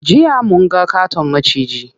Jiya munga ƙaton maciji.